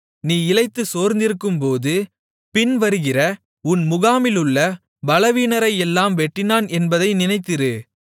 நீ இளைத்து சோர்ந்திருக்கும்போது பின்வருகிற உன் முகாமிலுள்ள பலவீனரையெல்லாம் வெட்டினான் என்பதை நினைத்திரு